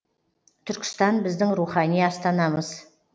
түркістан біздің рухани астанамыз